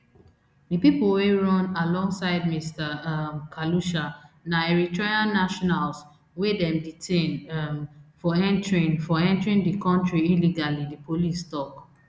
di pipo wey run alongside mr um khalusha na eritrean nationals wey dem detain um for entering for entering di kontri illegally di police tok